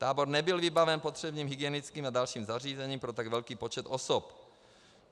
Tábor nebyl vybaven potřebným hygienickým a dalším zařízením pro tak velký počet osob.